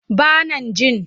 Ba nan jin.